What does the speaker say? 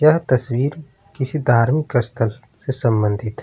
यह तस्वीर किसी धार्मिक स्थल से संबंधित --